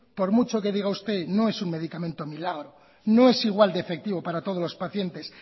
por mucho que diga usted no es un medicamento milagro no es igual de efectivo para todos los paciente